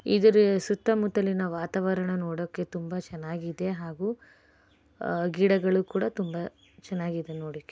ಇದರ ಸುತ್ತಮುತ್ತಲಿನ ವಾತಾವರಣ ನೋಡೋದಕ್ಕೆ ತುಂಬಾ ಚೆನ್ನಾಗಿದೆ ಮತ್ತೆ ಹಾಗೂ ಗಿಡಗಳು ಕೂಡ ತುಂಬಾ ಚೆನ್ನಾಗಿದೆ ನೋಡಲಿಕ್ಕೆ --